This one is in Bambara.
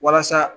Walasa